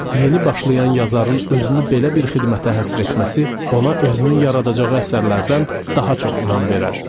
Yeni başlayan yazarın özünü belə bir xidmətə həsr etməsi ona özünün yaradacağı əsərlərdən daha çox inam verər.